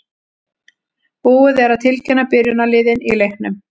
Búið er að tilkynna byrjunarliðin í leiknum.